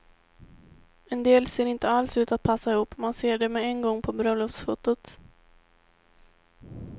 En del ser inte alls ut att passa ihop, man ser det med en gång på bröllopsfotot.